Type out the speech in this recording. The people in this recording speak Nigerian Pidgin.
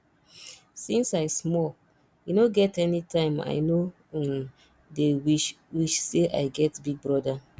since i small e no get anytime i no um dey wish wish say i get big brother